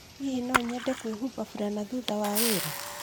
Hihi no nyende kwĩhumba furana thutha wa wĩra?